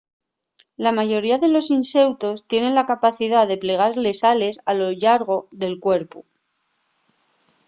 la mayoría de los inseutos tienen la capacidá de plegar les ales a lo llargo del cuerpu